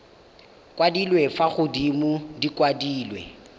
kwadilwe fa godimo di kwadilwe